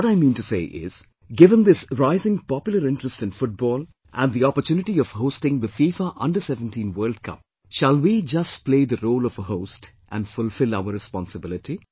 What I mean to say is, given this rising popular interest in Football and the opportunity of hosting FIFA Under17 World Cup, shall we just play the role of a host and fulfil our responsibility